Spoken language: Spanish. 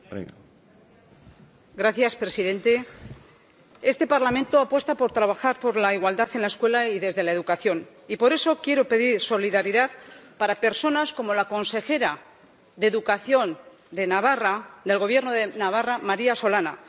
Señor presidente, este Parlamento apuesta por trabajar por la igualdad en la escuela y desde la educación, y por eso quiero pedir solidaridad para personas como la consejera de Educación del Gobierno de Navarra, María Solana.